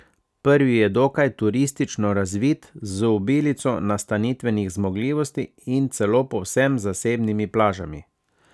Prvi je dokaj turistično razvit, z obilico nastanitvenih zmogljivosti in celo povsem zasebnimi plažami.